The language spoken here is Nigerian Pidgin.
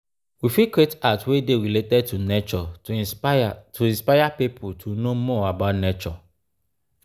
we fit create art wey dey related to nature to inspire to inspire pipo to know more about nature